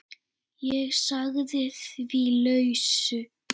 Ég sagði því lausu.